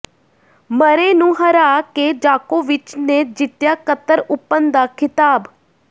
ਮਰੇ ਨੂੰ ਹਰਾ ਕੇ ਜਾਕੋਵਿਚ ਨੇ ਜਿੱਤਿਆ ਕਤਰ ਓਪਨ ਦਾ ਖਿਤਾਬ